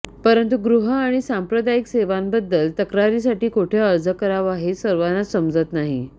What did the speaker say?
परंतु गृह आणि सांप्रदायिक सेवांबद्दल तक्रारीसाठी कोठे अर्ज करावा हे सर्वांनाच समजत नाही